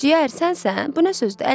Ciyər, sənsən, bu nə sözdür?